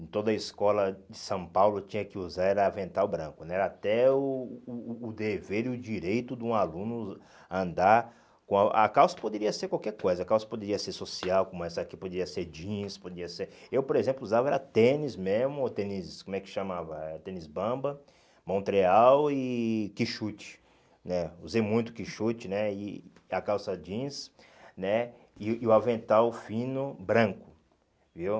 em toda a escola de São Paulo tinha que usar era avental branco, né era até o o o dever e o direito de um aluno andar, com a calça poderia ser qualquer coisa, a calça poderia ser social, como essa aqui, poderia ser jeans, podia ser, eu por exemplo usava era tênis mesmo, tênis como é que chamava, era tênis bamba, Montreal e Kixute né, usei muito Kixute né e, a calça jeans né e e o avental fino branco, viu?